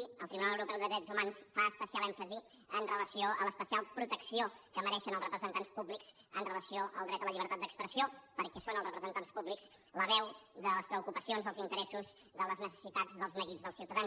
i el tribunal europeu de drets humans fa especial èmfasi amb relació a l’especial protecció que mereixen els representants públics amb relació al dret a la llibertat d’expressió perquè són els representants públics la veu de les preocupacions dels interessos de les necessitats dels neguits dels ciutadans